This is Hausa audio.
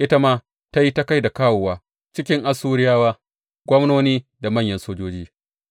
Ita ma ta yi ta kai da kawowa cikin Assuriyawa, gwamnoni da manyan sojoji;